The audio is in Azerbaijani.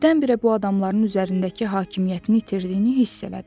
Birdən-birə bu adamların üzərindəki hakimiyyətini itirdiyini hiss elədi.